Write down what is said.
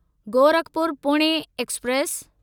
Gorakhpur Pune express